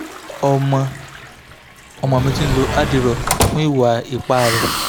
ọmọ ọmọ mi ti ń lo dderall fún ìwà ipá rẹ̀